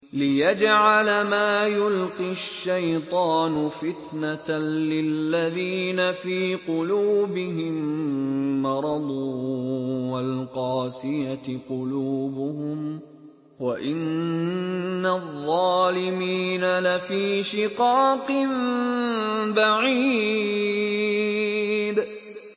لِّيَجْعَلَ مَا يُلْقِي الشَّيْطَانُ فِتْنَةً لِّلَّذِينَ فِي قُلُوبِهِم مَّرَضٌ وَالْقَاسِيَةِ قُلُوبُهُمْ ۗ وَإِنَّ الظَّالِمِينَ لَفِي شِقَاقٍ بَعِيدٍ